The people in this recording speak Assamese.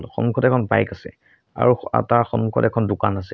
সন্মুখত এখন বাইক আছে আৰু তাৰ সন্মুখত এখন দোকান আছে।